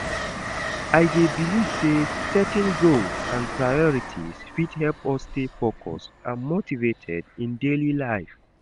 i dey believe say setting goals and priorities fit help us stay focused and motivated in daily life.